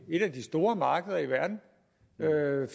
et af de store markeder i verden